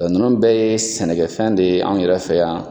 Ɛɛ nunnu bɛ ye sɛnɛ kɛ fɛn de ye an yɛrɛ fɛ yan.